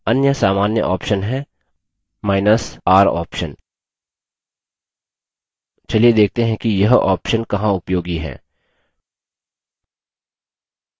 अन्य सामान्य option हैr option चलिए देखते हैं कि यह option कहाँ उपयोगी है